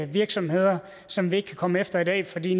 virksomheder som vi ikke kan komme efter i dag fordi